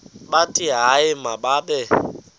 bathi hayi mababe